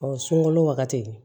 Ɔ sunkalo wagati